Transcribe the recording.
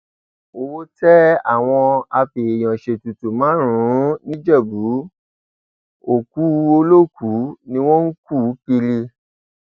owó tẹ àwọn afèèyànṣètùtù márùnún nìjẹbù òkú olókùú ni wọn ń kú kiri